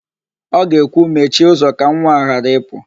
Ọ ga-ekwu, "mechie ụzọ ka nwa a ghara ịpụ"!